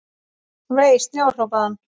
Vei, snjór hrópaði hann.